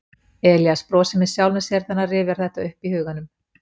Elías brosir með sjálfum sér þegar hann rifjar þetta upp í huganum.